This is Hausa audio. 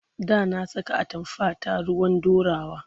Da na saka atamfata ruwan ɗorawa.